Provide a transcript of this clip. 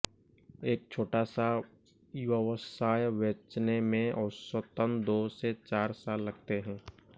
एक छोटा सा व्यवसाय बेचने में औसतन दो से चार साल लगते हैं